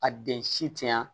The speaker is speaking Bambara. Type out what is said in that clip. A den si te yan